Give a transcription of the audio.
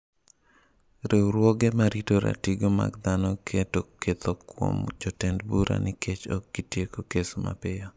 Riwruoge ma rito ratiro mag dhano keto ketho kuom jotend bura nikech ok gitieko kes mapiyo.